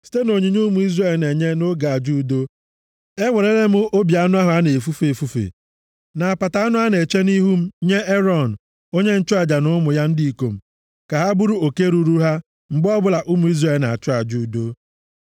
Site nʼonyinye ụmụ Izrel na-enye nʼoge aja udo, ewerela m obi anụ ahụ a na-efufe efufe, na apata anụ a na-eche nʼihu m nye Erọn, onye nchụaja na ụmụ ya ndị ikom ka ha bụrụ oke ruuru ha mgbe ọbụla ụmụ Izrel na-achụ aja udo.’ ”+ 7:34 \+xt Ọpụ 29:27\+xt*